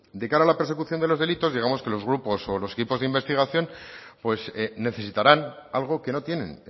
de cara a la persecución de los delitos digamos que los grupos o los equipos de investigación pues necesitarán algo que no tienen